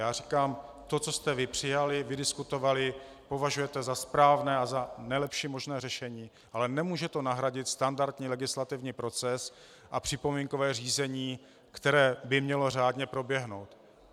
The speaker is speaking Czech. Já říkám: To, co jste vy přijali, vydiskutovali, považujete za správné a za nejlepší možné řešení, ale nemůže to nahradit standardní legislativní proces a připomínkové řízení, které by mělo řádně proběhnout.